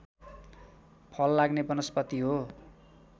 फल लाग्ने वनस्पति हो